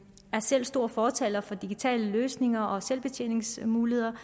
selv stor fortaler for digitale løsninger og selvbetjeningsmuligheder